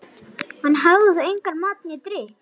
Hann hafði þá og engan mat né drykk.